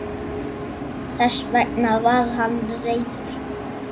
Þess vegna var hann reiður.